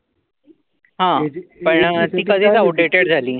हा! पण ती कधीच आवूटेड झाल